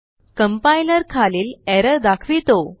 Complierखालील error दाखवितो